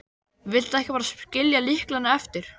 Viltu ekki bara skilja lyklana eftir?